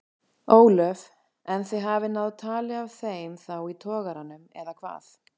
Ólöf: En þið hafið náð tali af þeim þá í togaranum eða hvað?